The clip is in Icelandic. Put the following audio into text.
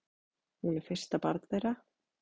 Hún er fyrsta barn þeirra.